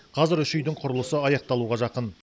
қазір үш үйдің құрылысы аяқталуға жақын